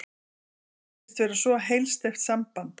Það virtist vera svo heilsteypt samband.